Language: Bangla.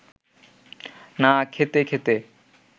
না খেতে খেতে